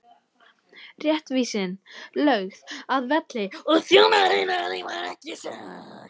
Réttvísin lögð að velli og þjónar hennar hreyfa sig ekki!